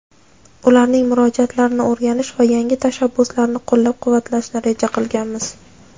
ularning murojaatlarini o‘rganish va yangi tashabbuslarni qo‘llab-quvvatlashni reja qilganmiz.